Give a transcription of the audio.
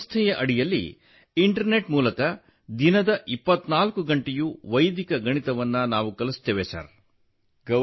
ಈ ಸಂಸ್ಥೆಯ ಅಡಿಯಲ್ಲಿ ಇಂಟರ್ನೆಟ್ ಮೂಲಕ ದಿನದ 24 ಗಂಟೆಯೂ ವೈದಿಕ ಗಣಿತವನ್ನು ಕಲಿಸುತ್ತೇವೆ ಸರ್